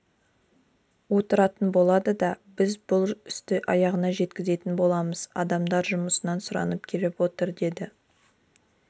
отыратын болады да біз бұл істі аяғына жеткізетін боламыз адамдар жұмысынан сұранып келіп отыр деді